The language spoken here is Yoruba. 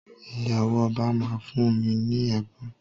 Ìyàwó ọba máa fún mi ní ẹ̀bùn.